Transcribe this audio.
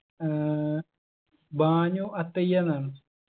ഏർ Bhanu അത്തയ്യന്നാണൊ